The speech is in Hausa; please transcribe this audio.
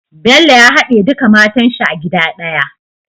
Bello ya hade duka matan shi a gida daya